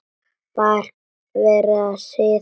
Var verið að hirða hann?